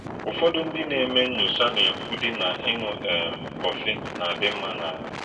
Ụ́fọ̀dù̄ ndị́ nà - èmé̄ nnỳò̄chá̄ nà - èkwúdí̄ na ị́ṅụ̄ um kọ̄fị̀ nà - àdí̄ m̀mà̄ n’àhụ́̄.